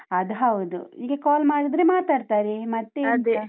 ಅದ್ ಹೌದು, ಹೀಗೆ call ಮಾಡಿದ್ರೆ ಮಾತಾಡ್ತಾರೆ, ಮತ್ತೆ .